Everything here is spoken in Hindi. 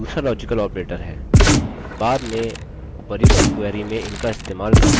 बाद में उपर्युक्त query में इनका इस्तेमाल करके इनके बारे में जानिए